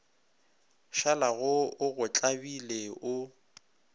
šalago o go tlabile o